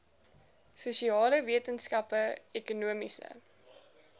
sosiale wetenskappe ekonomiese